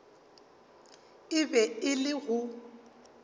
e be e le go